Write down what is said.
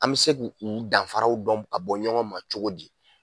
An bɛ se ku danfaraw dɔn ka bɔ ɲɔgɔn ma cogo di